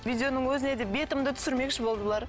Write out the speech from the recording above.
видеоның өзіне де бетімді түсірмекші болды бұлар